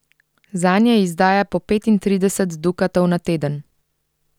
Zanje izdaja po petintrideset dukatov na teden.